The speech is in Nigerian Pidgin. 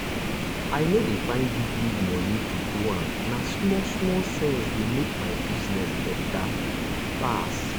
i no dey find big-big money to do am na small small sense dey make my business better pass.